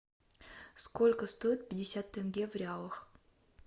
сколько стоит пятьдесят тенге в реалах